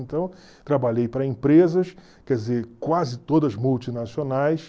Então, trabalhei para empresas, quer dizer, quase todas multinacionais,